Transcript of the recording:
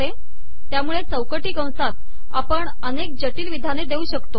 तयामुळे चौकटी कसात आपण अनेक जिटल िवधाने देउ शकतो